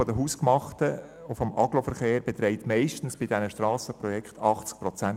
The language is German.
Der Anteil des Aggloverkehrs beträgt bei den Strassenprojekten meistens 80 Prozent.